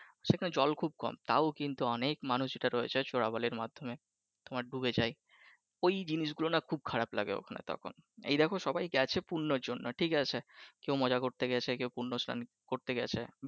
সেখানে জল খুব কম তাও অনেক কিন্তু মানুষ যেটা রয়েছে চোরা বালির মাধ্যমে তোমার ডুবে যায়, ওই জিনিস গুলো না খুব খারাপ লাগে ওইখানে তখন এই দেখো সবাই গেছে পূর্ণর জন্য ঠিক আছে কেউ মজা করতে গেছে কেউ পূর্ণ স্লান করতে গেছে।